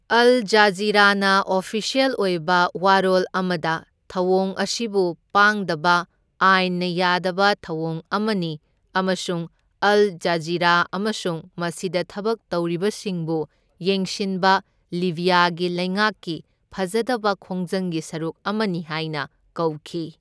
ꯑꯜ ꯖꯖꯤꯔꯥꯅ ꯑꯣꯐꯤꯁ꯭ꯌꯦꯜ ꯑꯣꯏꯕ ꯋꯥꯔꯣꯜ ꯑꯃꯗ ꯊꯧꯑꯣꯡ ꯑꯁꯤꯕꯨ ꯄꯥꯡꯗꯕ ꯑꯥꯢꯟꯅ ꯌꯥꯗꯕ ꯊꯧꯑꯣꯡ ꯑꯃꯅꯤ ꯑꯃꯁꯨꯡ ꯑꯜ ꯖꯖꯤꯔꯥ ꯑꯃꯁꯨꯡ ꯃꯁꯤꯗ ꯊꯕꯛ ꯇꯧꯔꯤꯕꯁꯤꯡꯕꯨ ꯌꯦꯡꯁꯤꯟꯕ ꯂꯤꯕ꯭ꯌꯥꯒꯤ ꯂꯩꯉꯥꯛꯀꯤ ꯐꯖꯗꯕ ꯈꯣꯡꯖꯪꯒꯤ ꯁꯔꯨꯛ ꯑꯃꯅꯤ ꯍꯥꯢꯅ ꯀꯧꯈꯤ꯫